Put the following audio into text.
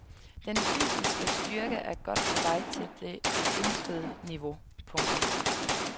Den fysiske styrke er godt på vej til det ønskede niveau. punktum